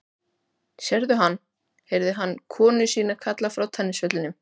Sérðu hann? heyrði hann konu sína kalla frá tennisvellinum.